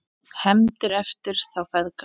HEFNDIR EFTIR ÞÁ FEÐGA